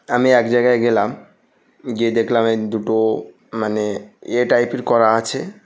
আমি এক জায়গায় গেলাম গিয়ে দেখলাম দুটো মানে ইয়ে টাইপ এর করা আছে।